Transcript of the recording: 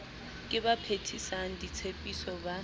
ke ba phethisang ditshepiso ba